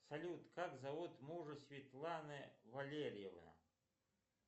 салют как зовут мужа светланы валерьевны